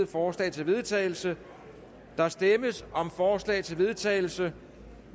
forslag til vedtagelse der stemmes om forslag til vedtagelse